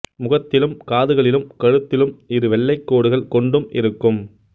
முகத்திலும் காதுகளிலும் கழுத்திலும் இரு வெள்ளை கோடுகள் கொண்டும் இருக்கும்